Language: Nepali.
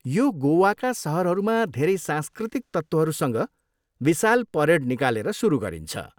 यो गोवाका सहरहरूमा धेरै सांस्कृतिक तत्त्वहरूसँग विशाल परेड निकालेर सुरु गरिन्छ।